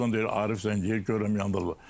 Birazdan deyir Arif zəng eləyir, görürəm yandadır.